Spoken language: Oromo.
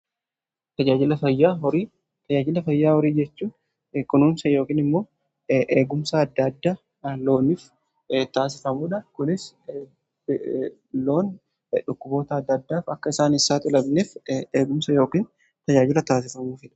Tajaajilla fayyaa horii jechuu kunuunsa yookiin immoo eegumsa adda addaa looniif taasifamuudha. Kunis loon dhukkuboota adda addaaf akka isaan saaxilamneef eegumsa yookin tajaajila taasifamudha.